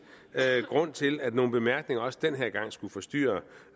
grund til at nogle bemærkninger også denne gang skulle forstyrre